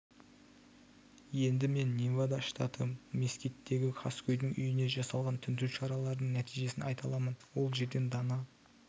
енді мен невада штаты мескиттегі қаскөйдің үйіне жасалған тінту шараларының нәтижесін айта аламын ол жерден дана